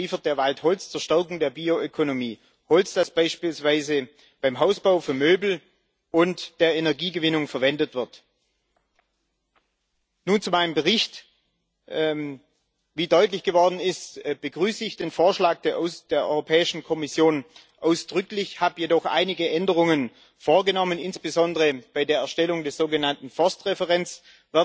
Zum Zweiten liefert der Wald Holz zur Stärkung der Bioökonomie Holz, das beispielsweise beim Hausbau für Möbel und bei der Energiegewinnung verwendet wird. Nun zu meinem Bericht Wie deutlich geworden ist, begrüße ich den Vorschlag der Europäischen Kommission ausdrücklich, ich habe jedoch einige Änderungen vorgenommen, insbesondere bei der Erstellung des sogenannten Forst Referenzwertes.